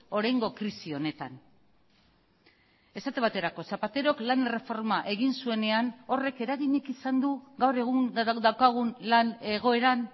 oraingo krisi honetan esate baterako zapaterok lan erreforma egin zuenean horrek eraginik izan du gaur egun daukagun lan egoeran